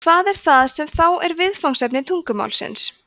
hvað er það sem þá er viðfangsefni tungumálsins